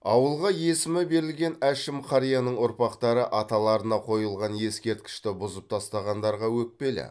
ауылға есімі берілген әшім қарияның ұрпақтары аталарына қойылған ескерткішті бұзып тастағандарға өкпелі